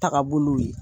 Taga bolow ye